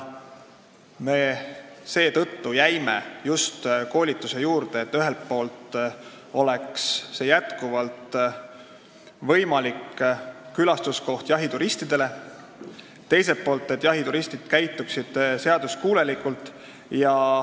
Me jäime koolituse juurde just seetõttu, et ühelt poolt oleks Eesti siis jahituristidele jätkuvalt võimalik külastuskoht, teiselt poolt käituksid need jahituristid seaduskuulekalt.